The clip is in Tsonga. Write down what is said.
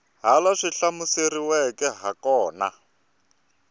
laha swi hlamuseriweke ha kona